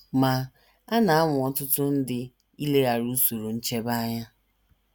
Ma, a na - anwa ọtụtụ ndị ileghara usoro nchebe anya.